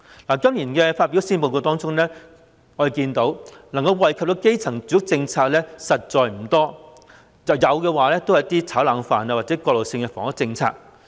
在今年發表的施政報告中，我們看到能夠惠及基層的住屋政策實在不多，即使有亦只是一些"炒冷飯"或過渡性的房屋政策。